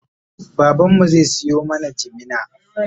baban mu zai Sayo mana jimina